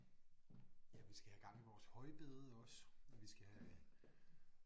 Ja vi skal have gang i vores højbede også og vi skal have